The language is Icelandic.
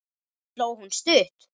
Sló hún stutt?